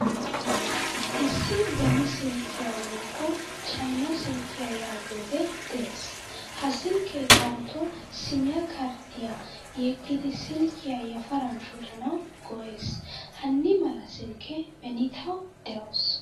Issi beni silkkiya woykko chayna silkiyaa yaagiyoge de'ees. H a silke daroto siimiya karddiya yeegidi silkiyaa yafaran shoccanawu go'ees. Hani mala silkke beni tawu deawusu.